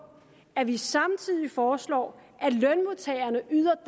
at vi samtidig foreslår at lønmodtagerne yder